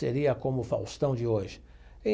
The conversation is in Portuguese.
Seria como o Faustão de hoje e.